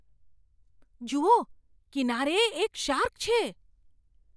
જુઓ! કિનારે એક શાર્ક છે!